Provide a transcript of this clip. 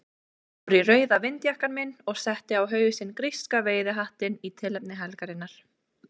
Ég fór í rauða vindjakkann minn og setti á hausinn gríska veiðihattinn í tilefni helgarinnar.